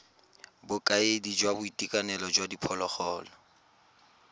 bokaedi jwa boitekanelo jwa diphologolo